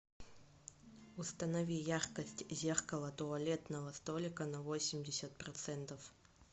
установи яркость зеркало туалетного столика на восемьдесят процентов